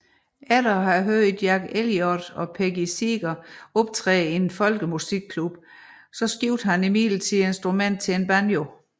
Efter at have hørt Jack Elliot og Peggy Seeger optræde i en folkemusikklub skiftede han imidlertid instrument til banjo